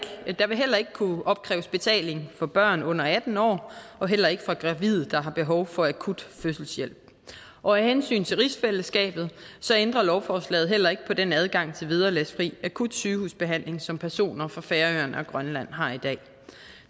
kunne opkræves betaling for børn under atten år og heller ikke for gravide der har behov for akut fødselshjælp og af hensyn til rigsfællesskabet ændrer lovforslaget heller ikke på den adgang til vederlagsfri akut sygehusbehandling som personer fra færøerne og grønland har i dag